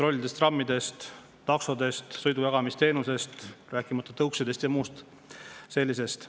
bussid, trollid, trammid, taksod, sõidujagamisteenus, rääkimata tõuksidest ja muust sellisest.